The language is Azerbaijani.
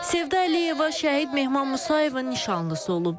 Sevda Əliyeva şəhid Mehman Musayevin nişanlısı olub.